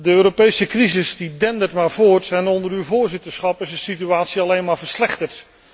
De Europese crisis die dendert maar voort en onder uw voorzitterschap is de situatie alleen maar verslechterd.